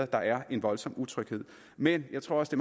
der er en voldsom utryghed men jeg tror også